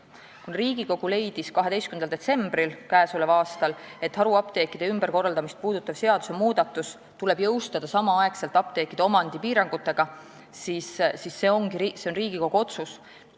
Kuna Riigikogu leidis 12. detsembril k.a, et haruapteekide ümberkorraldamist puudutav seadusmuudatus tuleb jõustada samal ajal apteekide omandipiirangutega, siis see ongi parlamendi otsus.